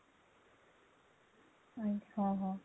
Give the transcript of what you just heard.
ଆଚ୍ଛା ଓଃ ହୋ